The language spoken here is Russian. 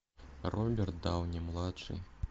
роберт дауни младший